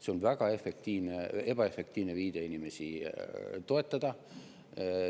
See on väga ebaefektiivne viide inimesi toetada.